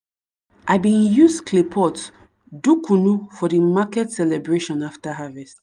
i bin use clay pot do kunu for the maket celebration after harvest.